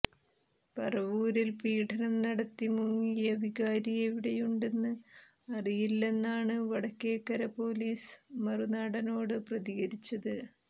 പറവൂരിൽ പീഡനം നടത്തി മുങ്ങിയ വികാരി എവിടെയുണ്ടെന്ന് അറിയില്ലെന്നാണ് വടക്കേക്കര പൊലീസ് മറുനാടനോട് പ്രതികരിച്ചത്